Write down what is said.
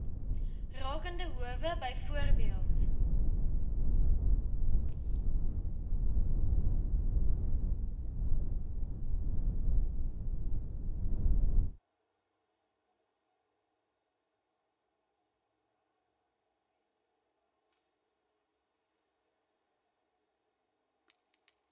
rakende howe byvoorbeeld